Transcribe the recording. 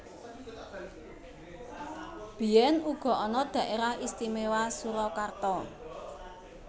Biyèn uga ana Dhaérah Istiméwa Surakarta